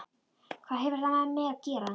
Hvað hefur það með mig að gera?